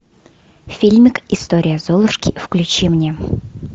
фильмик история золушки включи мне